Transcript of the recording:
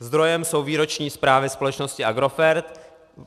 Zdrojem jsou výroční zprávy společnosti Agrofert.